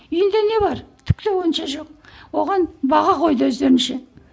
үйінде не бар түк те онша жоқ оған баға қойды өздерінше